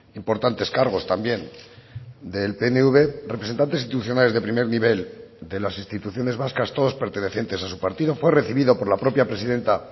importantes cargos también del pnv representantes institucionales de primer nivel de las instituciones vascas todos pertenecientes a su partido fue recibido por la propia presidenta